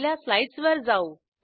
आपल्या स्लाईडसवर जाऊ